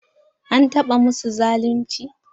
An taɓa masu zalunci?